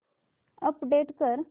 update कर